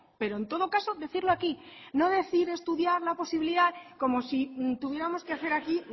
pero en todo caso decirlo aquí no decir estudiar la posibilidad como si tuviéramos que hacer aquí